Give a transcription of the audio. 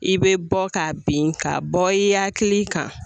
I bɛ bɔ k'a bin, ka bɔ i hakili kan .